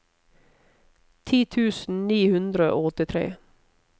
ti tusen ni hundre og åttitre